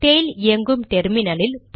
tail இயங்கும் டெர்மினலில்